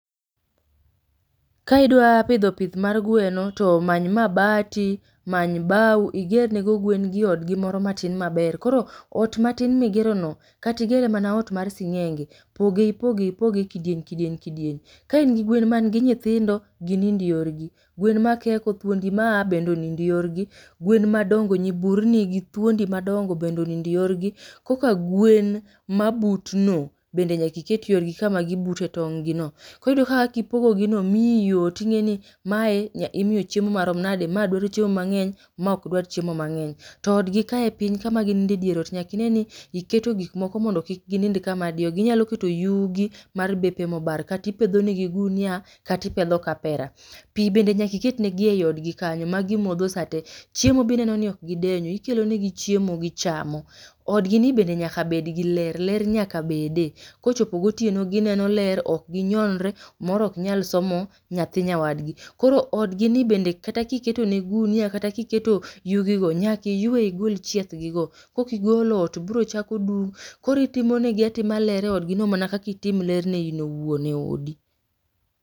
Ka idwa pidho pith mar gweno to many mabati, many bau igerne go gwen gi odgi moro matin maber. Koro ot matin migero no, kata igere mana ot mar sing'enge poge ipoge ipoge e kidieny kidieny kidieny. Ka in gi gwen man gi nyithindo ginind yorgi, gwen makeko, thuondi ma a bende onind yorgi, gwen madongo nyiburni gi thuondi madongo bende onind yorgi, koka gwen mabutno bende nyaka iket yorgi kama gi bute tonggi no. Koro iyudo kaka kipogo gi no miyi yot, ing'eni mae imiyo chiemo marom nade, mae dwaro chiemo mang'eny mae ok dwar chiemo mang'eny. To odgi kae piny kama gininde e dier ot nyaka ine ni iketo gik moko mondo kik ginind kama diyogi. Inyalo keto yugi mar bepe ma obar kata ipedho ne gi gunia kata ipedho kapera. Pi bbe nyaka iket negi ei odgi kanyo ma gimodho sa te, chiemo be ineno ni ok gidenyo, ikelo negi chiemo gichamo. Odgi bende nyaka bed gi ler, ler nyaka bede. Kochopo gotieno gineno ler, ok ginyonre moro ok nyal somo nyathi nyawadgi. Koro odgi ni bende kata ka iketo ne gunia kata ka iketo yudi go nyaka iywe igol chieth gi go. Ka ok igolo ot bro chako dum, koro itimo negi atima ler e odgi no mana kaka itimo ler ne in owuon e odi.